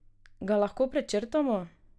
Ga lahko prečrtamo?